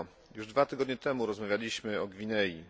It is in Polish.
Już dwa tygodnie temu rozmawialiśmy o Gwinei.